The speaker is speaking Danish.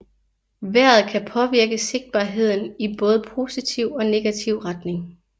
Vejret kan påvirke sigtbarheden i både positiv og negativ retning